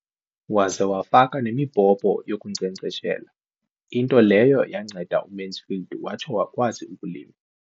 Waza wafaka nemibhobho yokunkcenkceshela, into leyo yanceda uMansfield watsho wakwazi ukulima.